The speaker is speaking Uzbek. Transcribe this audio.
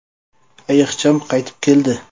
Ayiqcham qaytib keldi!